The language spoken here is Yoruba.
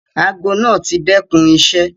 Àago naá ti dẹkun iṣẹ.